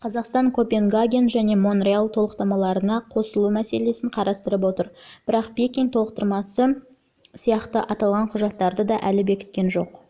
қазақстан копенгаген және монреаль толықтырмаларына қосылу мәселесін қарастырып отыр бірақ пекин толықтырмасы сияқты аталған құжаттарды да әлі бекіткен жоқ